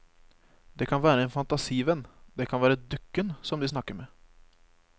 Det kan være en fantasivenn, det kan være dukken som de snakker med.